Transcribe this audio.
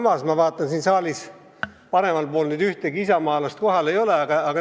Praegu ma vaatan, et siin saali paremal pool pole kohal ühtegi isamaalast.